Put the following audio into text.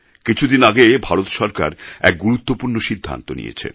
কিছুদিন আগে ভারত সরকার এক গুরুত্বপূর্ণ সিদ্ধান্ত নিয়েছে